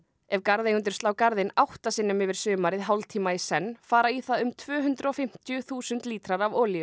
ef garðeigendur slá garðinn átta sinnum yfir sumarið hálftíma í senn fara í það um tvö hundruð og fimmtíu þúsund lítrar af olíu